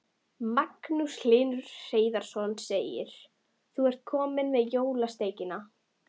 Magnús Hlynur Hreiðarsson: Þú ert komin með jólasteikina?